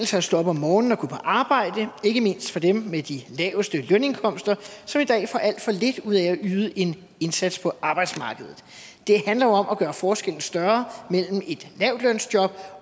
sig at stå op om morgenen og gå på arbejde ikke mindst for dem med de laveste lønindkomster som i dag får alt for lidt ud af at yde en indsats på arbejdsmarkedet det handler jo om at gøre forskellen større mellem et lavtlønsjob